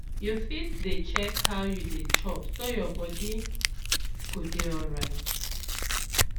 you fit dey check how you dey chop so your body go dey alright